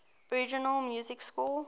original music score